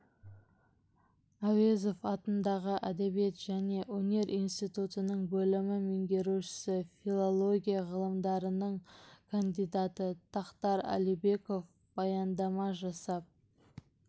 әуезов атындағы әдебиет және өнер институтының бөлім меңгерушісі филилогия ғылымдарының кандидаты тақтар әлібеков баяндама жасап